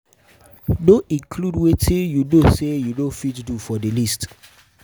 No include wetin you know say you no fit do for di list